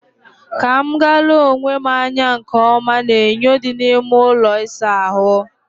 Ka m gaa lee onwe m anya nke ọma n'enyo dị n'ime ụlọ ịsa ahụ